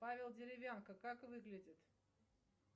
павел деревянко как выглядит